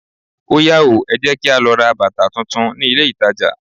Óyá o, ẹ jẹ́ kí á lọ ra bàtà tún tún ní ilé ìtajà.